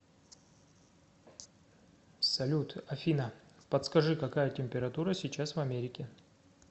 салют афина подскажи какая температура сейчас в америке